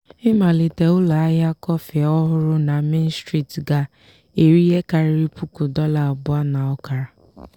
ịmalite ụlọahịa kọfị ọhụrụ na main street ga-eri ihe karịrị puku dollar abụọ na ọkara.